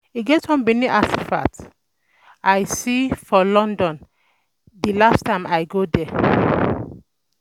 E get one Benin artefact um I um see for one museum wey dey London the last time I go there